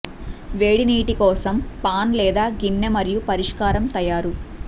వేడి నీటి కోసం పాన్ లేదా గిన్నె మరియు పరిష్కారం తయారు